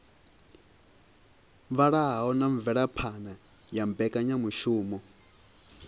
vhalaho na mvelaphana ya mbekanyamushumo